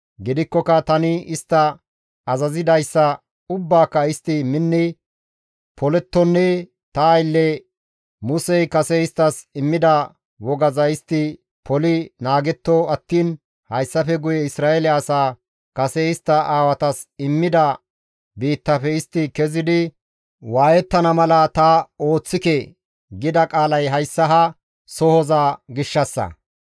Gidikkoka tani istta azazidayssa ubbaaka istti minni polettonne ta aylle Musey kase isttas immida wogaza istti poli naagetto attiin hayssafe guye Isra7eele asaa kase istta aawatas immida biittafe istti kezidi waayettana mala ta ooththike» gida qaalay hayssa ha sohoza gishshassa.